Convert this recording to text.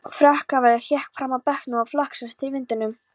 Frakkalafið hékk fram af bekknum og flaksaðist til í vindinum.